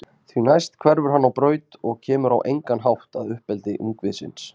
Því næst hverfur hann á braut og kemur á engan hátt að uppeldi ungviðisins.